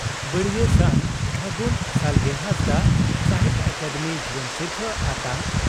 ᱵᱟᱹᱲᱭᱟᱹ ᱥᱟᱱ ᱯᱷᱟᱹᱜᱩᱱ ᱥᱟᱞᱜᱮ ᱦᱟᱸᱥᱫᱟᱜ ᱥᱟᱦᱤᱛᱭᱚ ᱟᱠᱟᱫᱮᱢᱤ ᱡᱩᱣᱟᱹᱱ ᱥᱤᱨᱯᱷᱟᱹ ᱟᱛᱟᱝ